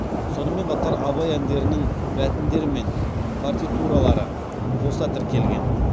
сонымен қатар абай әндерінің мәтіндері мен партитуралары қоса тіркелген